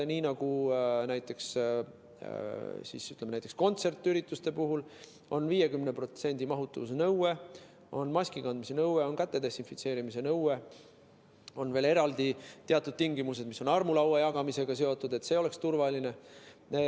Niimoodi maandamegi, et näiteks kontsertide puhul on 50%‑lise täituvuse nõue, on maskikandmise nõue, on käte desinfitseerimise nõue, on veel eraldi teatud tingimused, mis on armulaua jagamisega seotud, et see oleks turvaline.